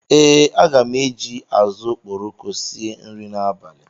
Ee, aga m eji azụ̀ okporoko sie nri n'abalị a